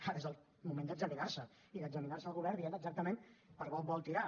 ara és el moment d’examinar se i d’examinar se el govern dient exactament per on vol tirar